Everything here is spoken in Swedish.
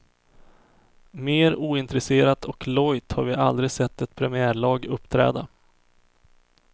Mer ointresserat och lojt har vi aldrig sett ett premiärlag uppträda.